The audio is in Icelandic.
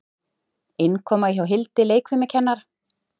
Innkoma hjá Hildi leikfimikennara.